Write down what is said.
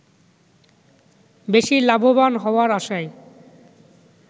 বেশি লাভবান হওয়ার আশায়